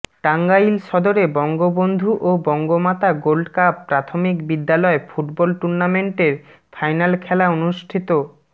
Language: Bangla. টাঙ্গাইল সদরে বঙ্গবন্ধু ও বঙ্গমাতা গোল্ডকাপ প্রাথমিক বিদ্যালয় ফুটবল টুর্নামেন্টের ফাইনাল খেলা অনুষ্ঠিত